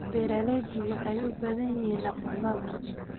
Beeraleydu waxay u baahan yihiin aqoon maamul.